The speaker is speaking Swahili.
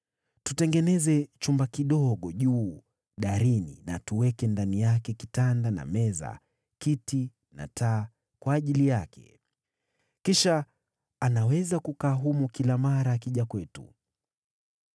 Tutengeneze chumba kidogo juu darini na tuweke ndani yake kitanda na meza, kiti na taa kwa ajili yake. Kisha anaweza kukaa humo kila mara akija kwetu.”